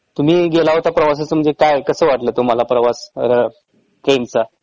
तुम्ही गेला होता प्रवासास म्हंजे काय कसं वाटलं तुम्हाला प्रवास ट्रेन चा